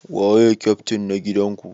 Waye kyaftin na gidan ku?